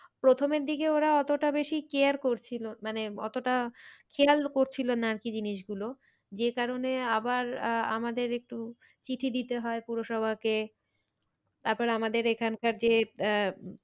প্রথমের দিকে ওরা অতটা বেশি care করছিলো মানে অতটা খেলায় করছিলো না আর কি জিনিস গুলো যে কারণে আবার আহ আমাদের একটু চিঠি দিতে হয় পৌরসভাকে তারপর আমাদের এখানকার যে আহ,